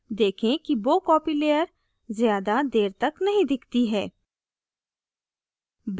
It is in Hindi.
देखें कि bow copy layer ज़्यादा layer तक नहीं दिखती है